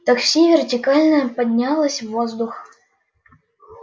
такси вертикально поднялось в воздух